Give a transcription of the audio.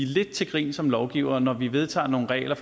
lidt til grin som lovgivere når vi vedtager nogle regler